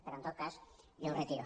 però en tot cas jo ho retiro